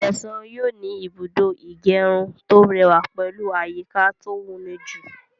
Ṣẹ̀san yóò ní Ìbùdó ìgẹrun tó rẹwà pẹ̀lú àyíká to woníjú